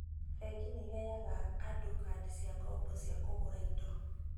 Bengi nĩ ĩheaga andũ kandi cia ngombo cia kũgũra indo